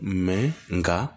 nka